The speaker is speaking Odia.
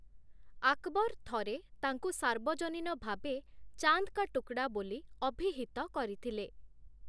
ଆକବର୍‌ ଥରେ ତାଙ୍କୁ ସାର୍ବଜନୀନ ଭାବେ 'ଚାନ୍ଦ୍‌ କା ଟୁକ୍‌ଡ଼ା' ବୋଲି ଅଭିହିତ କରିଥିଲେ ।